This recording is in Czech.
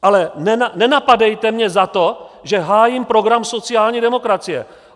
Ale nenapadejte mě za to, že hájím program sociální demokracie.